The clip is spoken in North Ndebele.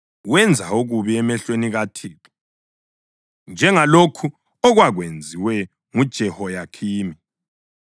Wenza okubi emehlweni kaThixo, njengalokho okwakwenziwe nguJehoyakhimi.